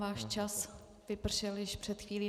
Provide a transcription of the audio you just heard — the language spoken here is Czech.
Váš čas vypršel již před chvílí.